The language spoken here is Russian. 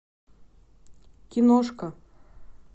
киношка